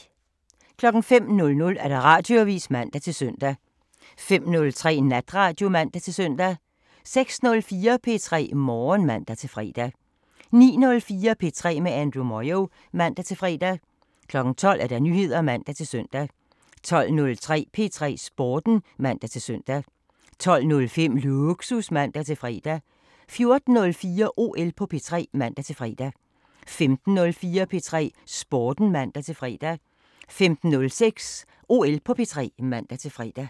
05:00: Radioavisen (man-søn) 05:03: Natradio (man-søn) 06:04: P3 Morgen (man-fre) 09:04: P3 med Andrew Moyo (man-fre) 12:00: Nyheder (man-søn) 12:03: P3 Sporten (man-søn) 12:05: Lågsus (man-fre) 14:04: OL på P3 (man-fre) 15:04: P3 Sporten (man-fre) 15:06: OL på P3 (man-fre)